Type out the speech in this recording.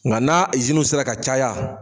Nga n'a izinuw sera ka caya